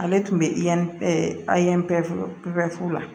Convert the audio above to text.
Ale tun bɛ i bɛ fula